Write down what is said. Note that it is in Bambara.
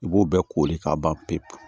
I b'o bɛɛ koli k'a ban pewu